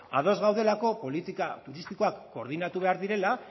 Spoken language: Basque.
ados gaudelako politika turistikoak koordinatu behar direla